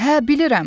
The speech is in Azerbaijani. Hə, bilirəm.